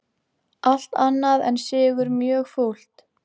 Allt annað en sigur mjög fúlt